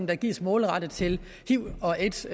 der gives målrettet til hiv og aids